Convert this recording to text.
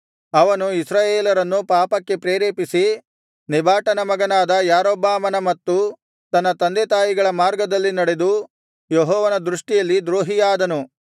ಅವನು ಇಸ್ರಾಯೇಲರನ್ನು ಪಾಪಕ್ಕೆ ಪ್ರೇರೇಪಿಸಿ ನೆಬಾಟನ ಮಗನಾದ ಯಾರೊಬ್ಬಾಮನ ಮತ್ತು ತನ್ನ ತಂದೆತಾಯಿಗಳ ಮಾರ್ಗದಲ್ಲಿ ನಡೆದು ಯೆಹೋವನ ದೃಷ್ಟಿಯಲ್ಲಿ ದ್ರೋಹಿಯಾದನು